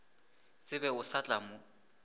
tsebe o sa tla mo